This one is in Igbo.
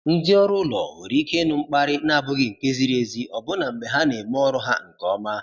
Ndị ọrụ ụlọ nwere ike ịnụ mkparị na-abụghị nke ziri ezi ọbụna mgbe ha na-eme ọrụ ha nke ọma.